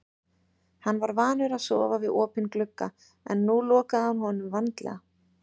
Hann var vanur að sofa við opinn glugga en nú lokaði hann honum vandlega.